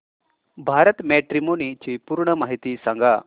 Bharat matrimony ची पूर्ण माहिती सांगा